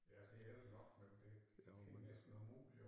Ja det er det nok men det det næsten umuligt at